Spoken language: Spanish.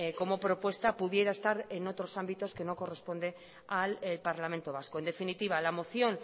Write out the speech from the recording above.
como propuesta pudiera estar en otros ámbitos que no corresponde al parlamento vasco en definitiva la moción